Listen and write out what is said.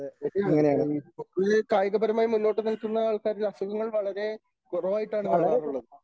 ശരിയാണ് ഇപ്പോൾ ഈ പൊതുവേ കായികപരമായ മുന്നോട്ടു നിൽക്കുന്ന ആൾക്കാർക്ക് അസുഖങ്ങൾ വളരെ കുറവായിട്ടാണ് കാണാറുള്ളത്.